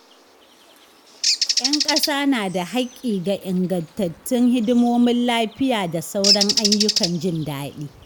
’Yan kasa na da haƙƙi ga ingantattun hidimomin lafiya da sauran ayyukan jin daɗi.